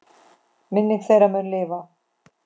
Minning þeirra mun lifa.